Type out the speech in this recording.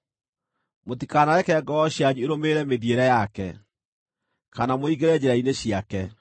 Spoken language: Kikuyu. Mũtikanareke ngoro cianyu ĩrũmĩrĩre mĩthiĩre yake, kana mũingĩre njĩra-inĩ ciake.